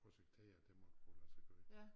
Projektere det måtte kunne lade sig gøre